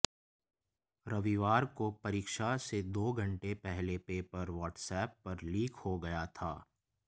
रविवार को परीक्षा से दो घंटे पहले पेपर वाट्सएप पर लीक हो गया था